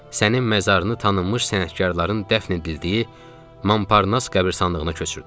Sənin məzarını tanınmış sənətkarların dəfn edildiyi Mamparnas qəbiristanlığına köçürtdüm.